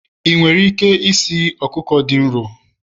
ị nwere ike esi nri ọkụkọ dị nro?